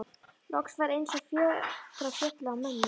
Loks var eins og fjötrar féllu af mömmu.